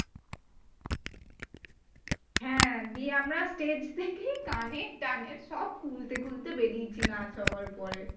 হ্যাঁ দিয়ে আমরা stage থেকেই কানের টানের সব খুলতে খুলতে বেড়িয়েছি নাচ হওয়ার পর পরে।